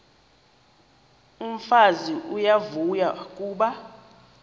umfazi uyavuya kuba